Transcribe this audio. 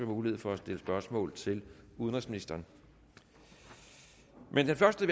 mulighed for at stille spørgsmål til udenrigsministeren men den første